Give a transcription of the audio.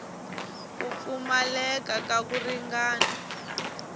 ku pfumaleka ka ku ringana